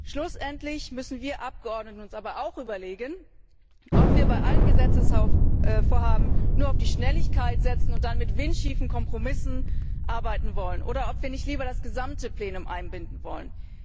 Schlussendlich müssen wir Abgeordnete uns auch überlegen, ob wir bei allen Gesetzesvorhaben nur auf die Schnelligkeit setzen und mit windschiefen Kompromissen arbeiten wollen, oder ob wir nicht lieber das gesamte Plenum einbinden wollen.